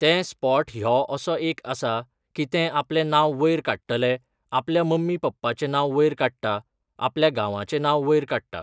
ते स्पोट ह्यो असो एक हें आसा की ते आपलें नांव वयर काडटले, आपल्या मम्मी पप्पाचें नांव वयर काडटा, आपल्या गांवांचें नांव वयर काडटा.